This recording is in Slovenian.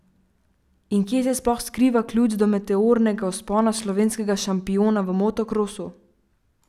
In kje se sploh skriva ključ do meteornega vzpona slovenskega šampiona v motokrosu?